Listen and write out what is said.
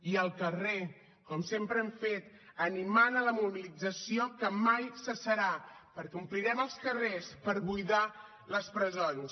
i al carrer com sempre hem fet animant a la mobilització que mai cessarà perquè omplirem els carrers per buidar les presons